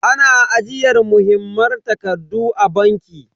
Ana ajiyar muhimman takardu a banki.